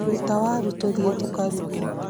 Rũta waru tũthiĩ tũkaruge